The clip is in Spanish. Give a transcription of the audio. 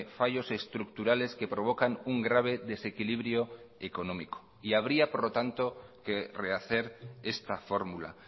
fallos estructurales que provocan un grave desequilibrio económico y habría por lo tanto que rehacer esta fórmula